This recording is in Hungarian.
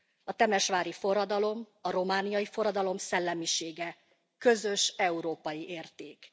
A temesvári forradalom, a romániai forradalom szellemisége közös európai érték.